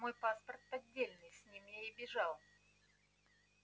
мой паспорт поддельный с ним я и бежал